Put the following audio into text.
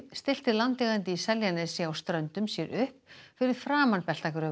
stillti landeigandi í Seljanesi á Ströndum sér upp fyrir framan